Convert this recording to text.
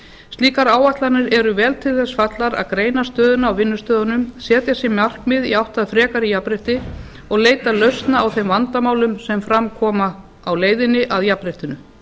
slíkar áætlanir eru vel til þess fallnar að greina stöðuna á vinnustöðunum setja sér markmið í átt að frekara jafnrétti og leita lausna á þeim vandamálum sem fram koma á leiðinni að jafnréttinu